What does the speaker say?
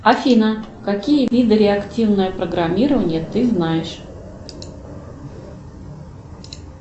афина какие виды реактивного программирования ты знаешь